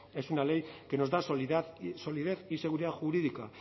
es una ley que nos da solidez y seguridad jurídica